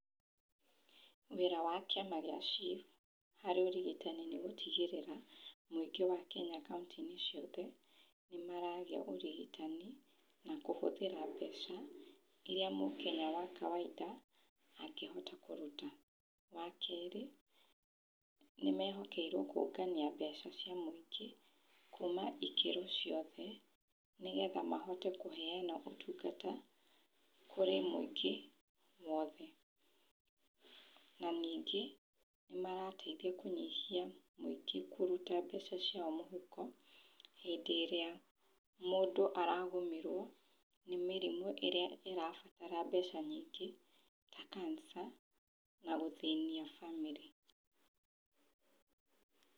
Wĩra wa kĩama kĩa SHIF harĩ ũrigitani nĩ gũtigĩrĩra mũingĩ wa Kenya kauntĩ-inĩ ciothe nĩ maragĩa ũrigitani, na kũhũthĩra mbeca iria Mũkenya wa kawaida angĩhota kũruta. Wa kerĩ nĩ mehokeirwo kũngania mbeca cia mũingĩ kuma ikĩro ciothe, nĩgetha mahote kũheana ũtungata kũrĩ mũingĩ wothe. Na ningĩ, nĩ marateithia kũnyihia mũingĩ kũruta mbeca ciao mũhuko hĩndĩ ĩrĩa mũndũ aragũmĩrwo nĩ mĩrimũ ĩrĩa ĩrabatara mbeca nyingĩ ta cancer na gũthĩnia bamĩrĩ.